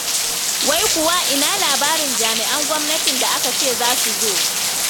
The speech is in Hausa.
Wai kuwa ina labarin jami'an gwamnatin da aka ce za su zo.